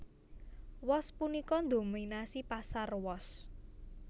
Wos punika ndhominasi pasar wos